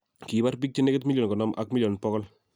Kiipar bik chenegit milion 50 ak milion 100